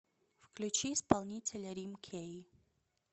включи исполнителя рим кей